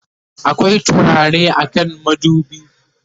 akwai turare a kan madubi?